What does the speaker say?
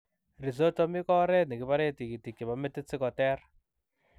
Rhizotomi koo oreet nekiparee tigitik chepoo metit sikoteer